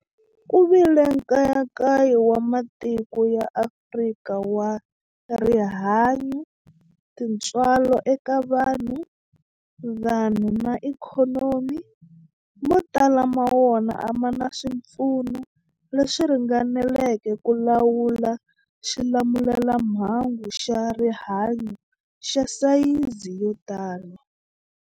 Ku vile nkayakayo wa matiko ya Afrika wa rihanyu, tintswalo eka vanhu, vanhu na ikhonomi, mo tala ma wona a ma na swipfuno leswi ringaneleke ku lawula xilamulelamhangu xa rihanyu xa sayizi yo tani.